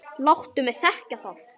Láttu mig þekkja það!